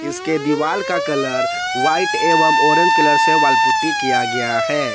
इसके दीवाल का कलर व्हाइट एवं ऑरेंज कलर से वॉल पुट्टी किया गया है।